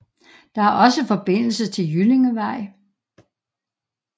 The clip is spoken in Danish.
Der er også forbindelse til Jyllingevej